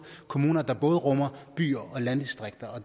kommuner der både rummer byer og landdistrikter og